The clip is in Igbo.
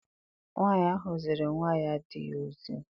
Nwaanyị ahụ ziri nwa di ya ozi.